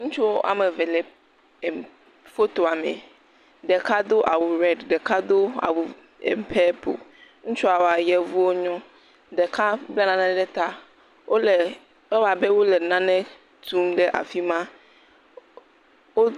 Ŋutsu woame eve le fotoa me, ɖeka do awu red ɖeka do awu em.. purple, ŋutsuawoa yevu wonyo, ɖeka bla nane ɖe ta, wole, ewɔ abe wole nane tum ɖe afi ma.